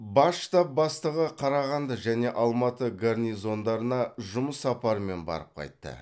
бас штаб бастығы қарағанды және алматы гарнизондарына жұмыс сапарымен барып қайтты